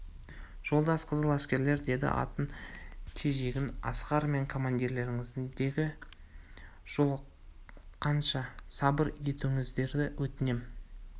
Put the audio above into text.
жолдас қызыл әскерлер деді атын тежеген асқар мен командирлеріңізге жолыққанша сабыр етулеріңізді өтінем